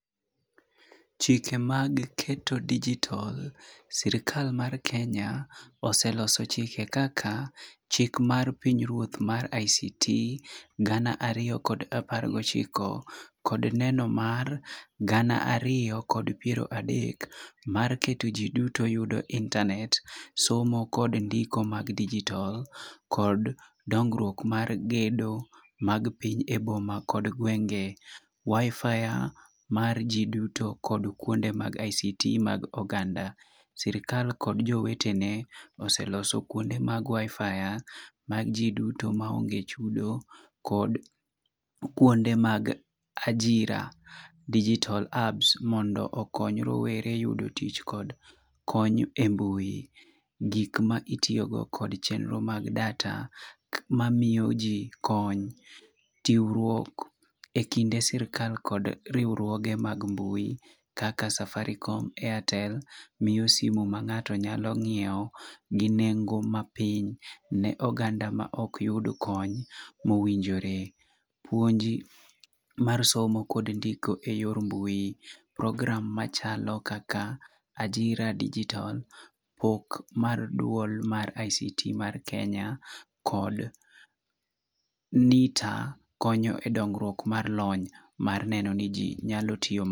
Chike mag keto digital[c] sirkal mar Kenya, oseloso chike kaka chik mar piny ruoth mar ICT gana ariyo kod apar gi ochiko, kod neno mar gana ariyo kod piero adek mar keto ji duto yudo internet, somo kod ndiko mag digital, kod dongruok mar gedo mag piny e boma kod gwenge. WIFI mar ji duto kod kuonde mag ICT mag oganda. Sirkal kod jowetne oseloso kuonde mag WIFI mag ji duto maonge chudo kod kuonde mag ajira digital hubs mondo okony rowere yudo tich kod kony e mbui. Gik ma itiyo go kod chenro mag data mamiyo ji kony. Tiwruok e kinde sirkal kod riwruoge mag mbui kaka safaricom, airtel, miyo simu ma ng'ato nyalo ng'iewo gi nengo mapiny ne oganda ma ok yud kony mowinjore. Puonji mar somo kod ndiko e yor mbui. Program machalo kaka ajira digital, pok mar duol mar ICT mar Kenya, kod NITA konyo e dongruok mar lony mar neno ni ji nyalo tiyo...